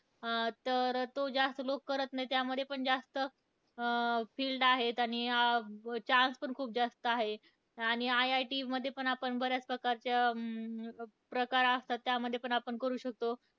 अं तर तो जास्त लोक करत नाहीत. त्यामध्ये पण जास्त अं field आहेत. आणि अं chance पण खूप जास्त आहेत. आणि IIT मध्ये पण आपण बऱ्याच प्रकारच्या, अं प्रकार असतात त्यामध्ये पण आपण करू शकतो.